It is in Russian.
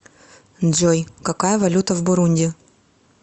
джой какая валюта в бурунди